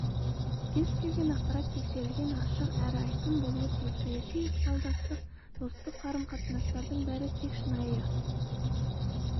кез келген ақпарат тексерілген ашық әрі айқын болуы тиіс саяси ықпалдастық достық қарым-қатынастардың бәрі тек шынайы